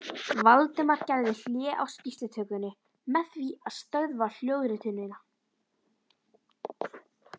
Valdimar gerði hlé á skýrslutökunni með því að stöðva hljóðritunina.